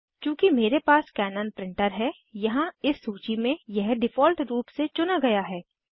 चूँकि मेरे पास कैनन प्रिंटर है यहाँ इस सूची में यह डिफ़ॉल्ट रूप से चुना गया है